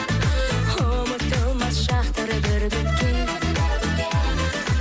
ұмытылмас шақтар бірге өткен